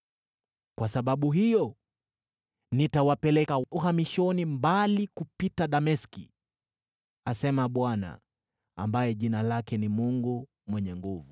Kwa sababu hiyo nitawapeleka uhamishoni mbali kupita Dameski,” asema Bwana , ambaye jina lake ni Mungu Mwenye Nguvu Zote.